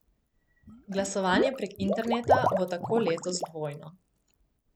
Glasovanje prek interneta bo tako letos dvojno.